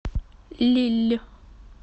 лилль